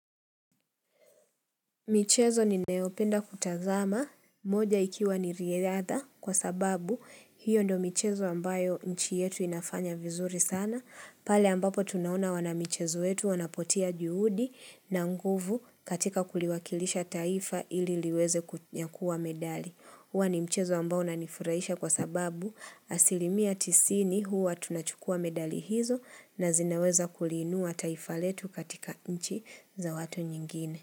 Michezo ninayopenda kutazama, moja ikiwa ni riadha kwa sababu hiyo ndo michezo ambayo nchi yetu inafanya vizuri sana, pale ambapo tunaona wana michezo wetu wanapotia juhudi na nguvu katika kuliwakilisha taifa ili liweze kunyakua medali. Huwa ni michezo ambao unanifurahisha kwa sababu asilimia tisini huwa tunachukua medali hizo na zinaweza kuliinua taifa letu katika nchi za watu nyingine.